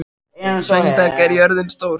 Sveinberg, hvað er jörðin stór?